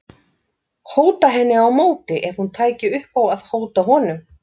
Hóta henni á móti ef hún tæki upp á að hóta honum.